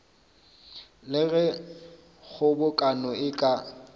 le ge kgobokano e ka